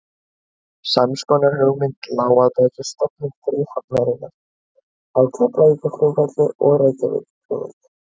Sams konar hugmynd lá að baki stofnun fríhafnarinnar á Keflavíkurflugvelli og Reykjavíkurflugvelli.